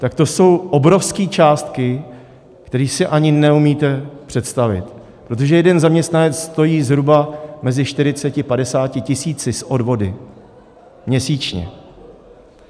Tak to jsou obrovské částky, které si ani neumíte představit, protože jeden zaměstnanec stojí zhruba mezi 40 až 50 tisíci s odvody měsíčně.